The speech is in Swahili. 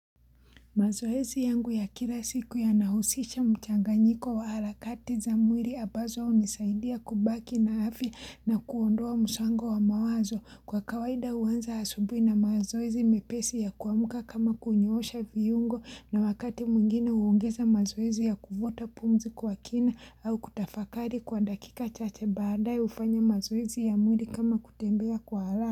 Mazoezi yangu ya kila siku yanahusisha mchanganyiko wa harakati za mwiri ambazo hunisaidia kubaki na afya na kuondoa msongo wa mawazo kwa kawaida huanza asubuhi na mazoezi mepesi ya kuamuka kama kunyoosha viyngo na wakati mwingine uungeza mazoezi ya kuvuta pumzi kwa kina au kutafakari kwa dakika chache baadae hufanya mazoezi ya mwiri kama kutembea kwa haraka.